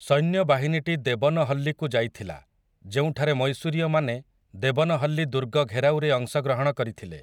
ସୈନ୍ୟବାହିନୀଟି ଦେବନହଲ୍ଲୀକୁ ଯାଇଥିଲା, ଯେଉଁଠାରେ ମୈଶୂରୀୟମାନେ ଦେବନହଲ୍ଲୀ ଦୁର୍ଗ ଘେରାଉରେ ଅଂଶଗ୍ରହଣ କରିଥିଲେ ।